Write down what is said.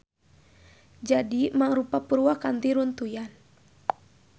Jadi mangrupa purwakanti runtuyan.